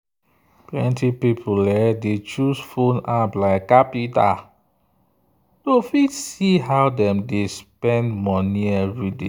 plenty people dey choose phone app like qapital to fit see how dem dey spend money everyday.